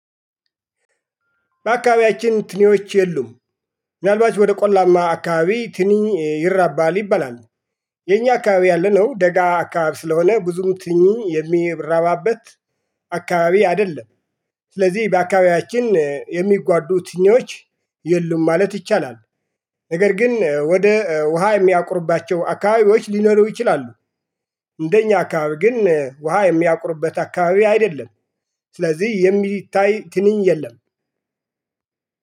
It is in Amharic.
በአካባቢያችን ትኒዎች የሉም ምናልባት ወደ ቆላማ አካባቢ ትኒኝ ይራባል ይባላል። የኛ አካባቢ ያለነው ደጋ አካባቢ ስለሆነ ብዙም ትንኚ የሚራባበት አይደለም። ስለዚህ በአካባቢያችን የሚጓዱ ትኞች የሉም ማለት ይቻላል። ነገር ግን ወደ ውሃ የሚያቁርባቸው አካባቢዎች ሊኖሩ ይችላሉ። እንደኛ አካባቢ ግን ውሃ የሚያቁርበት አካባቢ አይደለም። ስለዚህ የሚታይ ትንኝ የለም